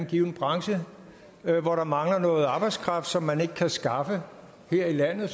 given branche hvor der mangler noget arbejdskraft som man ikke kan skaffe her i landet